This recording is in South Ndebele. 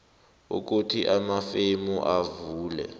ukuthi amafemu avule